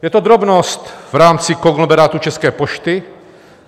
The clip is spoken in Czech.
Je to drobnost v rámci konglomerátu České pošty.